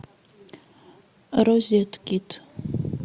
розеткед